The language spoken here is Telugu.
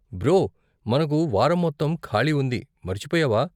బ్రో, మనకు వారం మొత్తం ఖాళీ ఉంది, మర్చిపోయావా?